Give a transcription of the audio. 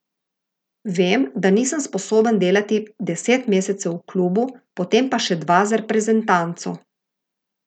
Vem, da nisem sposoben delati deset mesecev v klubu, potem pa še dva z reprezentanco.